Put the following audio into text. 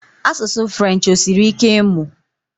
Asụsụ French, osiri ike ịmụ?